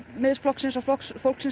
Miðflokksins og Flokks fólksins